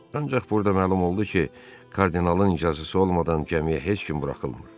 Ancaq burda məlum oldu ki, kardinalın icazəsi olmadan gəmiyə heç kim buraxılmır.